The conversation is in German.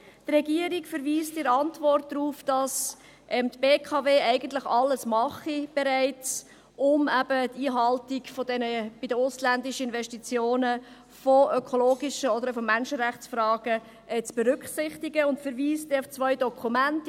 – Die Regierung verweist in der Antwort darauf, dass die BKW bereits alles mache, um die Haltung bei den ausländischen Investitionen von ökologischen oder auch von Menschenrechtsfragen zu berücksichtigen, und verweist auf zwei Dokumente;